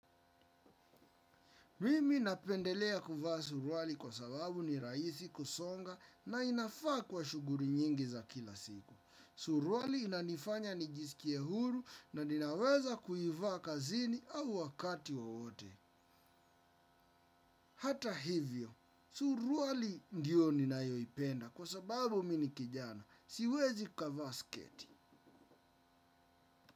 Mimi napendelea kuvaa suruali kwa sababu ni rahisi kusonga na inafaa kwa shughuli nyingi za kila siku. Suruali inanifanya nijisikie huru na ninaweza kuivaa kazini au wakati wowote. Hata hivyo, suruali ndiyo ninayoipenda kwa sababu mi ni kijana. Siwezi kavaa sketi.